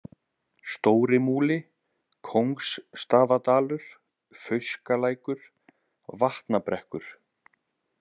Stórimúli, Kóngsstaðadalur, Fauskalækur, Vatnabrekkur